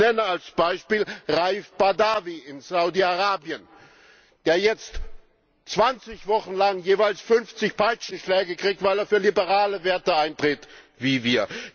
Ich nenne als Beispiel Raif Badawi in Saudi Arabien, der jetzt 20 Wochen lang jeweils 50 Peitschenschläge kriegt, weil er für liberale Werte eintritt wie wir.